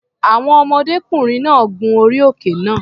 Àwọn ọmọdékùnrin náà gun orí òkè náà.